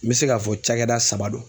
N be se ka fɔ cakɛda saba don.